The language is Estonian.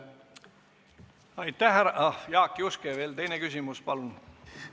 Jaak Juske, teine küsimus, palun!